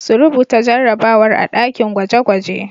Su rubuta jarrabawar a ɗakin gwaje-gwaje.